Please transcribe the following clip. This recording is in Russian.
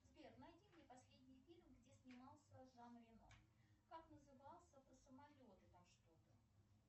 сбер найди мне последний фильм где снимался жан рено как назывался про самолеты там что то